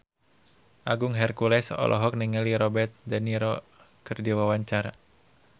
Agung Hercules olohok ningali Robert de Niro keur diwawancara